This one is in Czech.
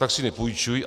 Tak si nepůjčují.